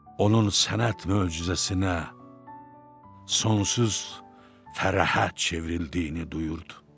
Onun sənət möcüzəsinə sonsuz fərahət çevrildiyini duyurdu.